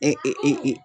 E